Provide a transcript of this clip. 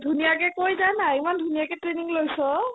ধুনীয়াকে কৈ দে না ইমান ধুনীয়াকে training লৈছ